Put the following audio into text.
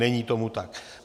Není tomu tak.